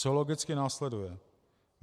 Co logicky následuje?